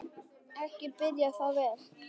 Ekki byrjar það vel!